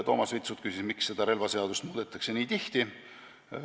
Toomas Vitsut küsis, miks relvaseadust muudetakse nii tihti.